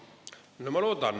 No ma loodan.